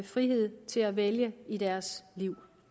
frihed til at vælge i deres liv